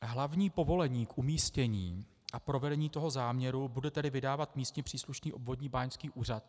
Hlavní povolení k umístění a provedení toho záměru bude tedy vydávat místně příslušný obvodní báňský úřad.